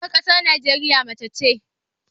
Shugaban ƙasar Najeriya mace ce.